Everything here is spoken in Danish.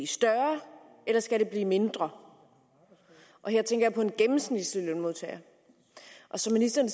større eller skal det blive mindre her tænker jeg på en gennemsnitslønsmodtager som ministeren